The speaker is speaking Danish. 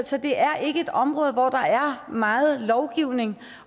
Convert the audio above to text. så det er ikke et område hvor der er meget lovgivning